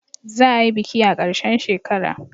Za a yi biki a karshen shekara